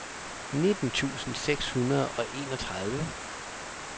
nitten tusind seks hundrede og enogtredive